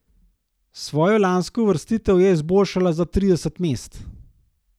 Svojo lansko uvrstitev je izboljšala za trideset mest.